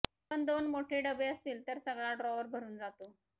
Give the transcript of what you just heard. पण दोन मोठ्ठे डबे असतील तर सगळा ड्रॉवर भरून जातो